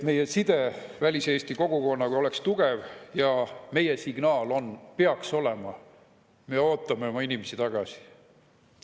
Meie side väliseesti kogukonnaga peab olema tugev ja meie signaal peaks olema: me ootame oma inimesi tagasi.